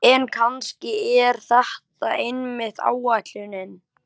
En kannski er það einmitt ætlunin.